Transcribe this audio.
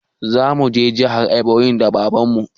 Zamu je jihar eboyin da baban mu